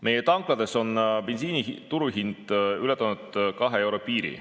Meie tanklates on bensiini turuhind ületanud kahe euro piiri.